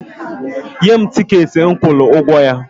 Nye m tikeetị m kwụrụla ụgwọ ya!